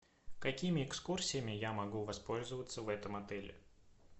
какими экскурсиями я могу воспользоваться в этом отеле